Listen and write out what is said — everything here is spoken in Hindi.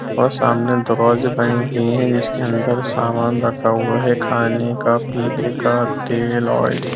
और सामने दरवाज़े बने हुए है जिसके अंदर सामान रखा हुआ है। खाने का पीने का तेल ओइल--